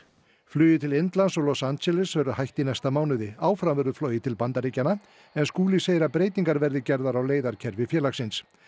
flugi til Indlands og Los Angeles verður hætt í næsta mánuði áfram verður flogið til Bandaríkjanna en Skúli segir að breytingar verði gerðar á leiðakerfi félagsins